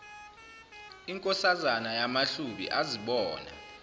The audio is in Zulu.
inkosazana yamahlubi azibona